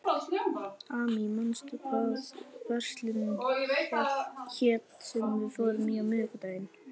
Amy, manstu hvað verslunin hét sem við fórum í á miðvikudaginn?